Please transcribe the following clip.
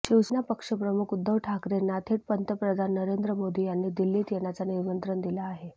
शिवसेना पक्षप्रमुख उद्धव ठाकरेंना थेट पंतप्रधान नरेंद्र मोदी यांनी दिल्लीत येणाचं निमंत्रण दिलं आहे